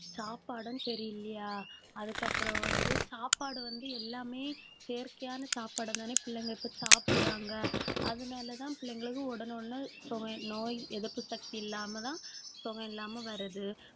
சாப்பாடும் சரியில்லையா அதுக்கப்புறம் வந்து சாப்பாடு வந்து எல்லாமே, செயற்கையான சாப்பாடு தானே பிள்ளைங்க இப்ப சாப்பிடுறாங்க அதனாலதான், பிள்ளைங்களுக்கும் உடனே உடனே நோய் எதிர்ப்பு சக்தி இல்லாமதான் சுகம் இல்லாம வர்றது.